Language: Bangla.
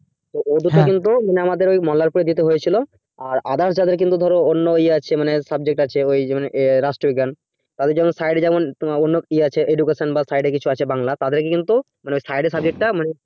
ওদেরকে কিন্তু মানে আমাদের ঐ মোল্লারপুর যেতে হয়েছিল আর others যাদের কিন্তু অন্য ইয়ে আছে মানে subject আছে ঐ মানে রাষ্ট্রবিজ্ঞান তাদের যেমন side এ যেমন তোমার অন্য ইয়ে আছে মানে education বা side এ কিছু আছে বাংলা তাদেরকে কে কিন্তু মানে side এর subject টা মানে